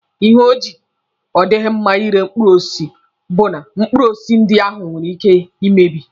Ihe o ji odighi mma ire mkpụrụ osisi bụ na mkpụrụ osisi ndị ahụ nwere ike ị mebi.